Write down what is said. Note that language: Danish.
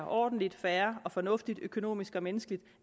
ordentligt fair og fornuftigt økonomisk og menneskeligt